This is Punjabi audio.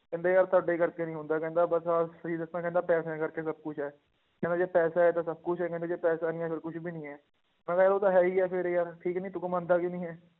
ਕਹਿੰਦੇ ਯਾਰ ਤੁਹਾਡੇ ਕਰਕੇ ਨੀ ਹੁੰਦਾ ਕਹਿੰਦਾ ਬਸ ਆਹ ਸਹੀ ਦੱਸਾਂ ਕਹਿੰਦਾ ਪੈਸਿਆਂ ਕਰਕੇ ਸਭ ਕੁਛ ਹੈ, ਕਹਿੰਦਾ ਜੇ ਪੈਸਾ ਹੈ ਤਾਂ ਸਭ ਕੁਛ ਹੈ ਕਹਿੰਦੇ ਜੇ ਪੈਸਾ ਨੀ ਹੈ ਫਿਰ ਕੁਛ ਵੀ ਨੀ ਹੈ, ਮੈਂ ਕਿਹਾ ਯਾਰ ਉਹ ਤਾਂ ਹੈ ਹੀ ਹੈ ਫਿਰ ਯਾਰ ਠੀਕ ਨੀ ਤੂੰ ਮੰਨਦਾ ਕਿਉਂ ਨੀ ਹੈ,